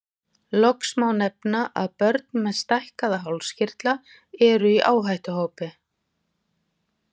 Loks má nefna að börn með stækkaða hálskirtla eru í áhættuhópi.